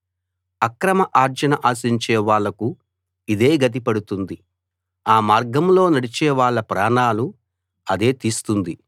అక్రమ ఆర్జన ఆశించే వాళ్లకు ఇదే గతి పడుతుంది ఆ మార్గంలో నడిచే వాళ్ళ ప్రాణాలు అదే తీస్తుంది